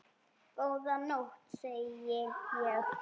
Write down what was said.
Góða nótt, segi ég.